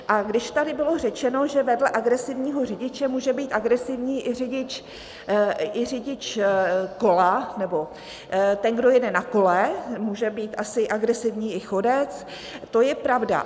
A když tady bylo řečeno, že vedle agresivního řidiče může být agresivní i řidič kola nebo ten, kdo jede na kole, může být asi agresivní i chodec, to je pravda.